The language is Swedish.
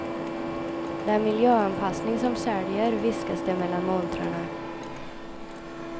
Det är miljöanpassning som säljer, viskas det mellan montrarna.